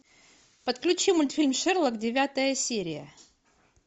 подключи мультфильм шерлок девятая серия